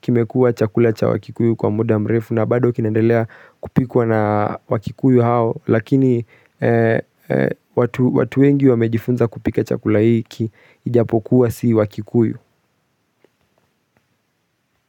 kimekuwa chakula cha wakikuyu kwa muda mrefu na bado kinendelea kupikwa na wakikuyu hao Lakini watu wengi wamejifunza kupika chakula hiki ijapokuwa si wakikuyu.